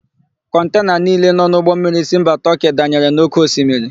Kọntena niile nọ n'ụgbọmmiri si mba Tọọkị danyere na ókéosimiri.